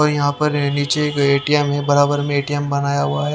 यहां पर नीचे एक एटीएम है बराबर में एटीएम बनाया हुआ है।